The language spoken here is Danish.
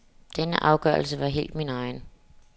Denne afgørelsen var helt min egen.